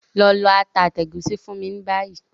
Lọ lọ ata àti ègúsí fún mi ni bayi!